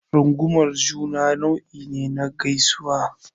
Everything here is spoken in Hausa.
Rungumar juna nau'i ne na gaisuwa.